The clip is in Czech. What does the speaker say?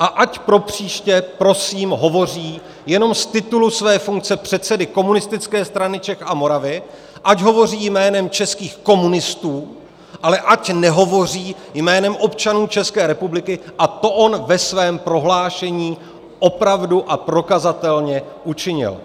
a ať pro příště prosím hovoří jenom z titulu své funkce předsedy Komunistické strany Čech a Moravy, ať hovoří jménem českých komunistů, ale ať nehovoří jménem občanů České republiky, a to on ve svém prohlášení opravdu a prokazatelně učinil.